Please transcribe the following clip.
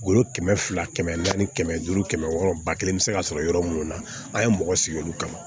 Woro kɛmɛ fila kɛmɛ naani kɛmɛ duuru kɛmɛ wɔɔrɔ ba kelen bɛ se ka sɔrɔ yɔrɔ minnu na an ye mɔgɔ sigi olu kama